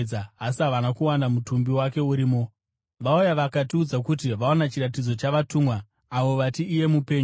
asi havana kuwana mutumbi wake urimo. Vauya vakatiudza kuti vaona chiratidzo chavatumwa, avo vati iye mupenyu.